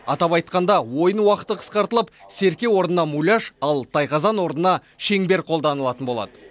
атап айтқанда ойын уақыты қысқартылып серке орнына муляж ал тайқазан орнына шеңбер қолданылатын болады